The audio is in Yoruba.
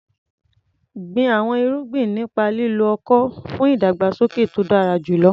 Gbin àwọn irúgbìn nípa lílo ọ̀kọ̀ fún ìdàgbàsókè tó dára jùlọ.